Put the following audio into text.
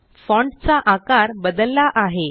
font चा आकार बदलला आहे